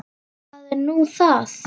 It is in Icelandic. Hvað er nú það?